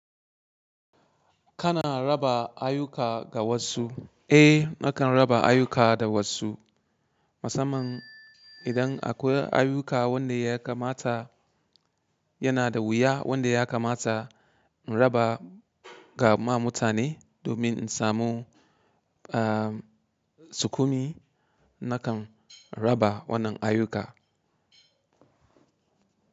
Kana raba ayuka ga wasu? Eh, nakan raba ayuka da wasu. Musamman idan akwai ayyuka wanda ya kamata yana da wuya wanda ya kamata in raba ga ma mutane domin in samu, ah, sukumi nakan raba wannan ayyuka.